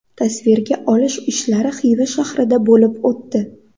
Tasvirga olish ishlari Xiva shahrida bo‘lib o‘tdi.